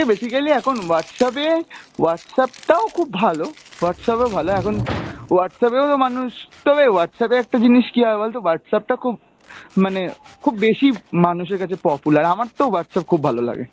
basically এখন Whatsapp এ Whatsapp টাও খুব ভালো, Whatsapp ও ভালো, এখন Whatsapp এও তো মানুষ, তবে Whatsapp এ একটা জিনিষ কী হয় বলতো, Whatsapp টা খুব, মানে খুব বেশি মানুষের কাছে popular। আমার তো Whatsapp খুব ভালো লাগে।